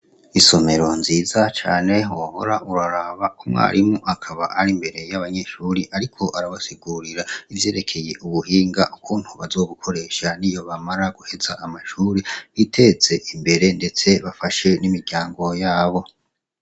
Isomero nziza cane wohora uraraba, umwarimu akaba ari imbere y'abanyeshure ariko arabasigurira ivyerekeye ubuhinga ukuntu bazobukoresha niyo bamara guheza amashure biteze imbere ndetse bafashe n'imiryango yabo.